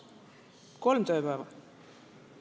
Kolm tööpäeva!